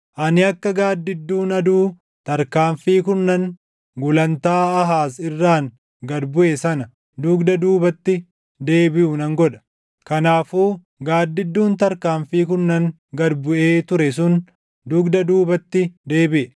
Ani akka gaaddidduun aduu tarkaanfii kurnan gulantaa Aahaaz irraan gad buʼe sana dugda duubatti deebiʼu nan godha.’ ” Kanaafuu gaaddidduun tarkaanfii kurnan gad buʼee ture sun dugda duubatti deebiʼe.